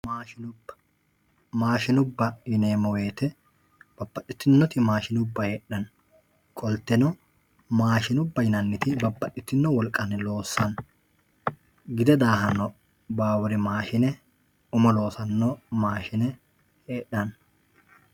maashshinubba maashshinubba yineemmo woyte babbaxitinnoti maashshinubba heedhanno qolteno maashshinubba yinanniti babbaxitinno wolqanni loossanno gide daahanno baawuri maashshine umo loossanno mashine hedhanno yate